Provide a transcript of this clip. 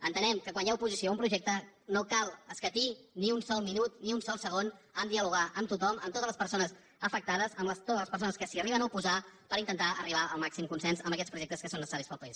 entenem que quan hi ha oposició a un projecte no cal escatir ni un sol minut ni un sol segon a dialogar amb tothom amb totes les persones afectades amb totes les persones que s’hi arriben a oposar per intentar arribar al màxim consens en aquests projectes que són necessaris per al país